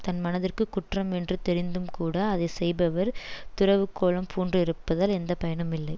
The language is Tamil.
தன் மனத்திற்குக் குற்றம் என்று தெரிந்தும்கூட அதை செய்பவர் துறவுக்கோலம் பூண்டிருப்பதால் எந்த பயனும் இல்லை